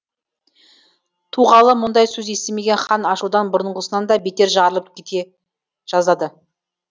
туғалы мұндай сөз естімеген хан ашудан бұрынғысынан да бетер жарылып кете жаздады